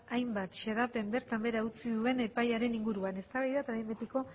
lap hainbat xedapen bertan bera utzi duen epaiaren inguruan eztabaida eta behin betiko